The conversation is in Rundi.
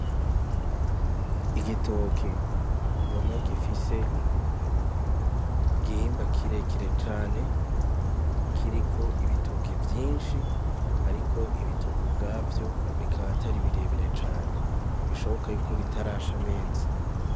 Igitoki mbona gifise igihimba kirekire cane kiriko ibitoki vyishi ariko ibitoki ubwavyo bikaba atari birebire cane bishoboka y’uko bitarasha neza.